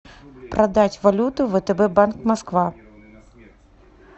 продать валюту втб банк москва